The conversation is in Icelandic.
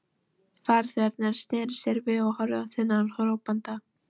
Farþegarnir sneru sér við og horfðu á þennan hrópanda.